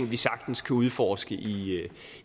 vi sagtens kan udforske